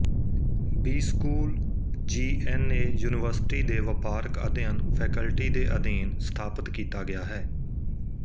B school G N A university ਦੇ ਵਪਾਰਕ ਅਧਿਐਨ ਫੈਕਲਟੀ ਦੇ ਅਧੀਨ ਸਥਾਪਤ ਕੀਤਾ ਗਿਆ ਹੈ